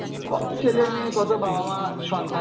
কতো ছেলে মেয়ে কতো বাবা মা সন্তান